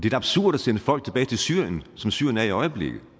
er absurd at sende folk tilbage til syrien som syrien er i øjeblikket